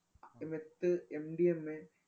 ഈ methMDMA